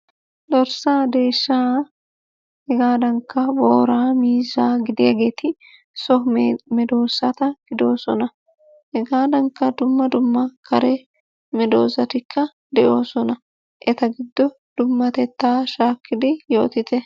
Dorssaa, deeshshaa hegaadankka booraa, miizzaa gidiyaageeti so medoosata gidoosona. Hegaadankka dumma dumma kare medoosatikka de"oosona. Eta giddo dummatettaa shaakkidi yootite.